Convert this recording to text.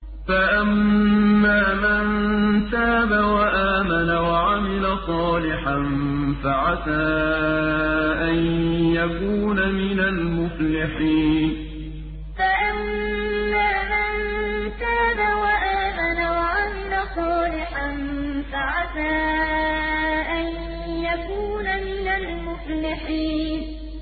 فَأَمَّا مَن تَابَ وَآمَنَ وَعَمِلَ صَالِحًا فَعَسَىٰ أَن يَكُونَ مِنَ الْمُفْلِحِينَ فَأَمَّا مَن تَابَ وَآمَنَ وَعَمِلَ صَالِحًا فَعَسَىٰ أَن يَكُونَ مِنَ الْمُفْلِحِينَ